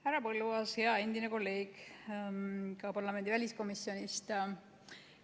Härra Põlluaas, hea endine kolleeg parlamendi väliskomisjonist!